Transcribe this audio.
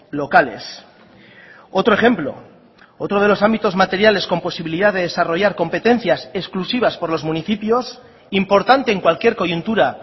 locales otro ejemplo otro de los ámbitos materiales con posibilidad de desarrollar competencias exclusivas por los municipios importante en cualquier coyuntura